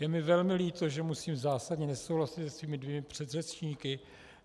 Je mi velmi líto, že musím zásadně nesouhlasit se svými dvěma předřečníky.